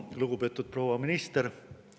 Lugupeetud proua minister!